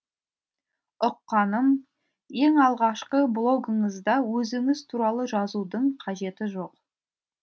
ұққаным ең алғашқы блогыңызда өзіңіз туралы жазудың қажеті жоқ